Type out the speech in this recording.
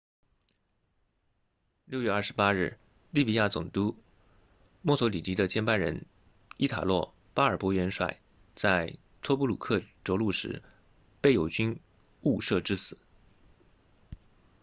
6月28日利比亚总督墨索里尼的接班人伊塔洛巴尔博元帅 marshal italo balbo 在托布鲁克着陆时被友军误射致死